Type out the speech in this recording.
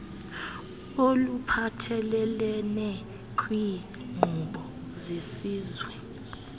oluphathelelene kwiinkqubo zesizwe